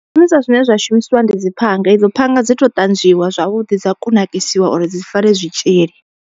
Zwishumiswa zwine zwa shumisiwa ndi dzi phanga, i dzo phanga dzi to ṱanzwiwa zwavhuḓi dza kunakisiwa uri dzi fare zwitzhili.